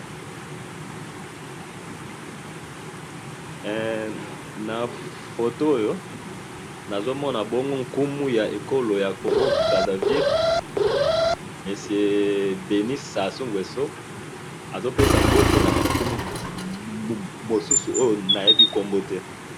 Na photo oyo na moni nkumu ya mboka Congo Brazzaville Denis Sassou Nguesson azo pesa ba nkumu mu susu mbote.